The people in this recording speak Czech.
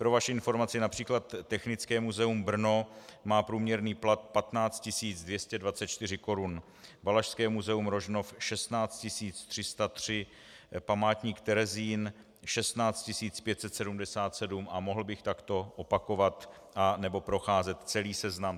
Pro vaši informaci, například Technické muzeum Brno má průměrný plat 15 224 korun, Valašské muzeum Rožnov 16 303, Památník Terezín 16 577 a mohl bych takto opakovat nebo procházet celý seznam.